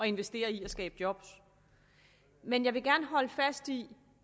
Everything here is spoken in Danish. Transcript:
investerer i at skabe job men jeg vil gerne holde fast i